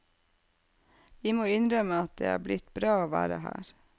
Vi må innrømme at det er blitt bra å være her.